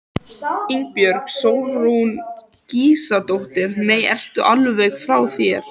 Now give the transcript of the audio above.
Ingibjörg Sólrún Gísladóttir: Nei, ertu alveg frá þér?